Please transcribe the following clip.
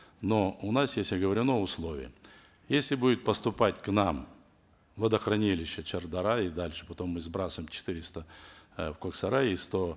но у нас есть оговорено условие если будет поступать к нам в водохранилище шардара и дальше потом мы сбрасываем четыреста э в коксарай и сто